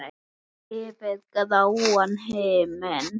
Yfir gráan himin.